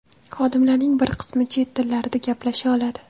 Xodimlarning bir qismi chet tillarida gaplasha oladi.